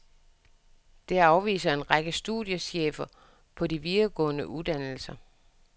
Det afviser en række studiechefer på de videregående uddannelser.